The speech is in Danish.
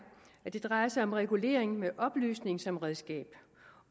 at det drejer sig om regulering med oplysning som redskab